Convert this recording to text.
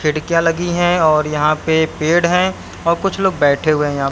खिड़कियां लगी हैं और यहां पे पेड़ हैं और कुछ लोग बैठे हुए है यहां।